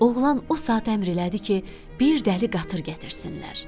Oğlan o saat əmr elədi ki, bir dəli qatır gətirsinlər.